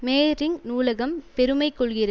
Mehring நூலகம் பெருமை கொள்கிறது